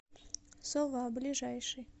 сова ближайший